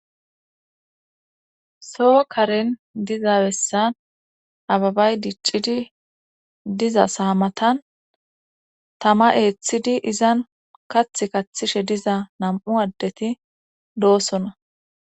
soo karen diza bessan ababay diccidi diza saamatan tama eeththidi izan kathi kathishe diza nam7u addeti doosona